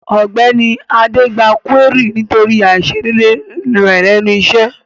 Ògbéni adé gba kúérì nítorí àisédédé rẹ̀ lẹ́nu isẹ́